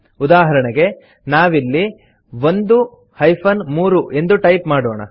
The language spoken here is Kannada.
ಉದಾಹರಣೆಗೆ ನಾವಿಲ್ಲಿ 1 3 ಎಂದು ಟೈಪ್ ಮಾಡೋಣ